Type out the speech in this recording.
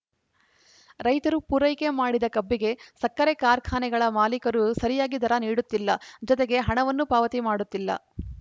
ರೈತರು ಪೂರೈಕೆ ಮಾಡಿದ ಕಬ್ಬಿಗೆ ಸಕ್ಕರೆ ಕಾರ್ಖಾನೆಗಳ ಮಾಲಿಕರು ಸರಿಯಾಗಿ ದರ ನೀಡುತ್ತಿಲ್ಲ ಜತೆಗೆ ಹಣವನ್ನೂ ಪಾವತಿ ಮಾಡುತ್ತಿಲ್ಲ